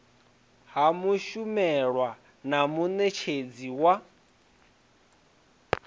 ha mushumelwa na munetshedzi wa